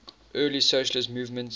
early socialist movement